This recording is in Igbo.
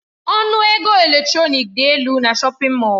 Ọnụ ego elektrọnik dị elu na shọpin Mọll.